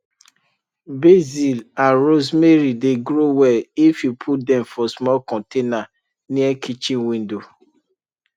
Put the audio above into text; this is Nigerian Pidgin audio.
basil and rosemary dey grow well if you put dem for small container near kitchen window